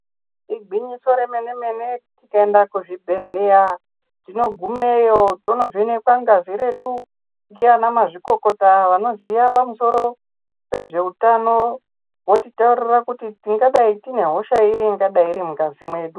Igwinyiso remene mene tikaenda kuzvibhedhleya tinogumeyo tonovhenekwa ngazi ndana mazvikokota anoziva nezvehutano votitaurira kuti tingadai tine hosha iri ingadai iri mungazi medu.